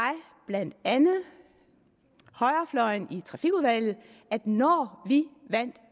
blandt andet højrefløjen i trafikudvalget at når vi vandt